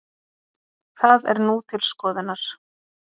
Það er nú til skoðunar